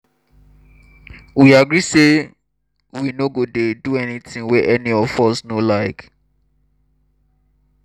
we agree say we no go dey do anything wey any of us no like